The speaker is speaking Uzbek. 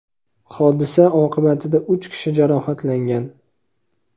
Hodisa oqibatida uch kishi jarohatlangan.